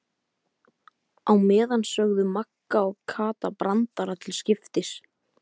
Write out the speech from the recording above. Á meðan sögðu Magga og Kata brandara til skiptis.